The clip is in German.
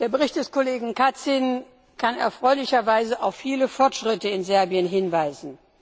Der Bericht des Kollegen Kacin kann erfreulicherweise auf viele Fortschritte in Serbien hinweisen.